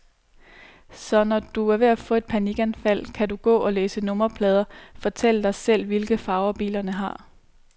Så når du er ved at få et panikanfald, kan du gå og læse nummerplader, fortælle dig selv, hvilke farver bilerne har.